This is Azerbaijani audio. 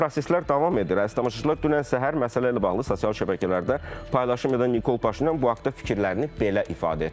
Və proseslər davam edir əziz tamaşaçılar, dünən səhər məsələ ilə bağlı sosial şəbəkələrdə paylaşım edən Nikol Paşinyan bu haqda fikirlərini belə ifadə etmişdir.